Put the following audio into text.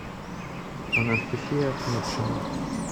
анастасия ахметшина